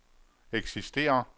eksisterer